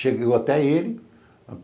Cheguei até ele.